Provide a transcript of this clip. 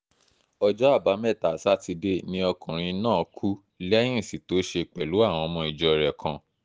ọjọ́ àbámẹ́ta sátidé ni ọkùnrin náà kú lẹ́yìn ìsìn tó ṣe pẹ̀lú àwọn ọmọ ìjọ rẹ̀ kan